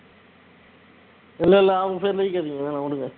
இல்ல இல்ல அவங்க பேர்லாம் இழுக்காதீங்க வேண்டாம் விடுங்க